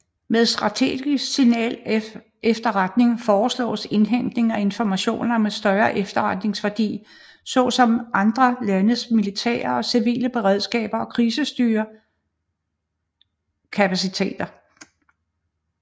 Med strategisk signalefterretning forstås indhentning af informationer med større efterretningsværdi såsom andre landes militære og civile beredskab og krisestyreingskapaciteter